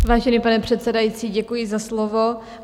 Vážený pane předsedající, děkuji za slovo.